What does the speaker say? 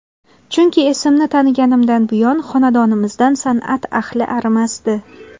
Chunki, esimni taniganimdan buyon xonadonimizdan san’at ahli arimasdi.